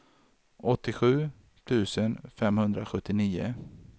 åttiosju tusen femhundrasjuttionio